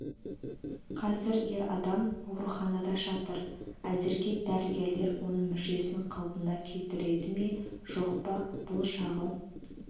қазір ер адам ауруханада жатыр әзірге дәрігерлер оның мүшесін қалпына келтірді ме жоқ па бұл жағы